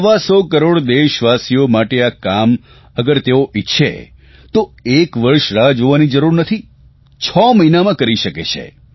સવા સો કરોડ દેશવાસીઓ માટે આ કામ અગર તેઓ ઇચ્છે તો એક વર્ષ રાહ જોવાની જરૂર નથી છ મહિનામાં કરી શકે છે